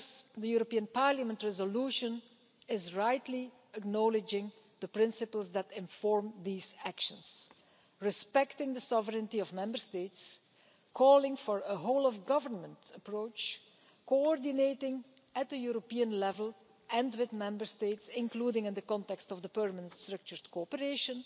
The European Parliament resolution rightly acknowledges the principles that inform these actions respecting the sovereignty of Member States, calling for a whole of government approach, coordinating at the European level and with Member States, including in the context of the Permanent Structured Cooperation,